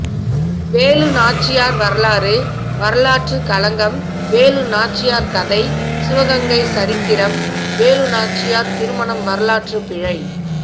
வேலு நாச்சியார் வரலாறு வரலாற்றுக் களங்கம் வேலு நாச்சியார் கதை சிவகங்கை சரித்திரம் வேலு நாச்சியார் திருமணம் வரலாற்றுப் பிழை